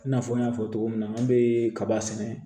I n'a fɔ n y'a fɔ cogo min na an bɛ kaba sɛnɛ